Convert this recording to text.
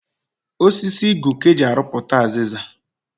Osisi Igu ka eji arụputa aziza